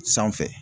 Sanfɛ